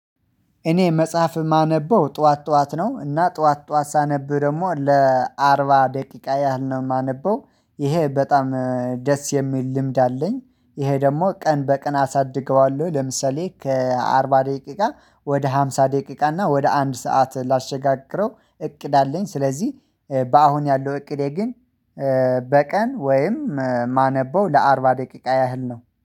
እኔ መጽሐፍ የማነበው ጠዋት ጠዋት ነው እና ጠዋት ጠዋት ሳነብ ደግሞ ለአርባ ደቂቃ ያህል ነው የማነበው ይሄ በጣም ደስ የሚል ልምድ አለኝ። ይሄ ደግሞ ቀን በቀን አሳድገዋለሁ ለምሳሌ ከአርባ ደቂቃ ወደ አምሳ ደቂቃ እና ወደ አንድ ሰዓት ላሸጋግረው እቅድ አለኝ። ስለዚህ በአሁን ያለው እቅዴ ግን በቀን ወይም ማነበው ለአርባ ደቂቃ ያህል ነው